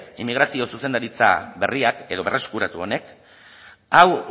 inmigrazio zuzendaritza berriak edo berreskuratu honek hau